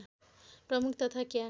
प्रमुख तथा क्या